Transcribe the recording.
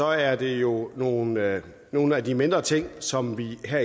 er det jo nogle af nogle af de mindre ting som vi har